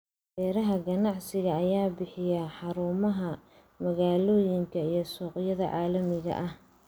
Beeraha ganacsiga ayaa bixiya xarumaha magaalooyinka iyo suuqyada caalamiga ah.